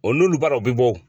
O n'olu baaraw bɛ bɔ